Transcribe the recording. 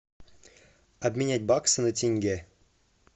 обменять баксы на тенге